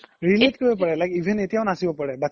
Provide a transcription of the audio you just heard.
relate কৰিব পৰে even এতিয়াও নাচিব পাৰে